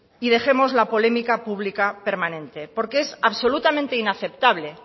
y dejemos la polémica pública permanente porque es absolutamente inaceptable